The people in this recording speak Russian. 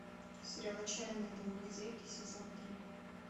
сериал отчаянные домохозяйки сезон три